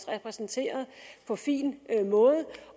repræsenteret på fin måde